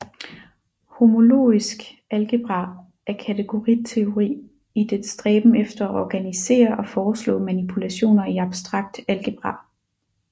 Homologisk algebra er kategoriteori i dets stræben efter at organisere og foreslå manipulationer i abstrakt algebra